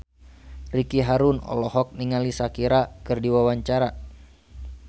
Ricky Harun olohok ningali Shakira keur diwawancara